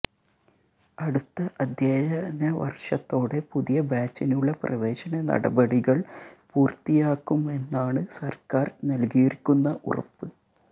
അടുത്ത അധ്യയനവര്ഷത്തോടെ പുതിയ ബാച്ചിനുള്ള പ്രവേശന നടപടികള് പൂര്ത്തിയാക്കുമെന്നാണ് സര്ക്കാര് നല്കിയിരിക്കുന്ന ഉറപ്പ്